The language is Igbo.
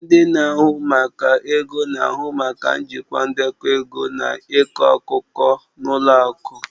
Ndị na-ahụ maka ego na-ahụ maka njikwa ndekọ ego na ịkọ akụkọ na ụlọ akụ